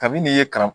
Kabini ye kara